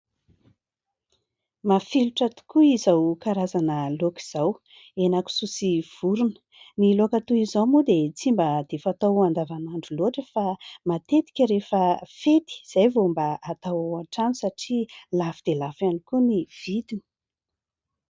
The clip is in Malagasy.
Mafilotra tokoa izao karazana laoka izao: hena kisoa sy vorona. Ny laoka toy izao moa dia tsy mba dia fatao an-davanandro loatra, fa matetika rehefa fety izay vao mba atao ao an-trano satria lafo dia lafo ihany koa ny vidiny.